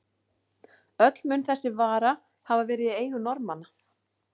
Öll mun þessi vara hafa verið í eigu Norðmanna.